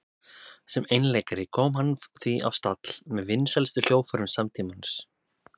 Sem einleikari kom hann því á stall með vinsælustu hljóðfærum samtímans.